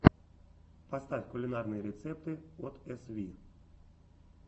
поставь кулинарные рецепты от эсви